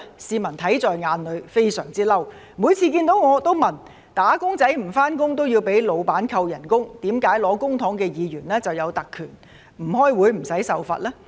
市民看在眼裏，非常憤怒，每次看到我也會問，"打工仔"不上班也要被僱主扣工資，為何領取公帑的議員有特權，不開會也無須受罰呢？